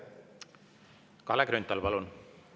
Kalle Grünthal, palun!